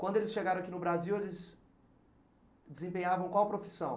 Quando eles chegaram aqui no Brasil, eles desempenhavam qual profissão?